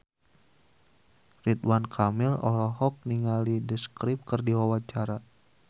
Ridwan Kamil olohok ningali The Script keur diwawancara